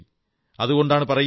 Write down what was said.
സവാ ലാഖ് സേ ഏക ലഡാഊം